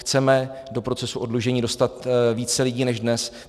Chceme do procesu oddlužení dostat více lidí než dnes.